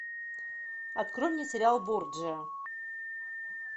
открой мне сериал борджиа